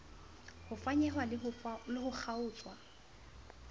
ho fanyehwa le ho kgaotswa